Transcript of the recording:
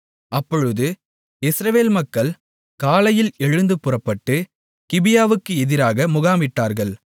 அப்பொழுது இஸ்ரவேல் மக்கள் காலையில் எழுந்து புறப்பட்டு கிபியாவுக்கு எதிராக முகாமிட்டார்கள்